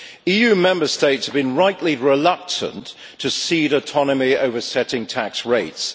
EU Member States have been rightly reluctant to cede autonomy over setting tax rates.